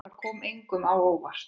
Það kom engum á óvart.